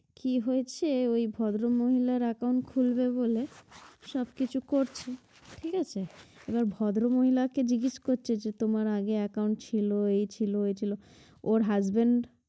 কি হয়েছে ওই ভদ্র মহিলার account খুলবে বলে সব কিছু করছে ঠিক আছে, এবার ভদ্র মহিলাকে জিজ্ঞেস করছে যে তোমার আগে account ছিলো এই ছিল এই ছিল ওর husbad